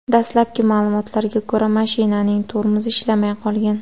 Dastlabki ma’lumotlarga ko‘ra, mashinaning tormozi ishlamay qolgan.